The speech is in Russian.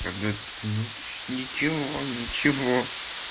когда ничего ничего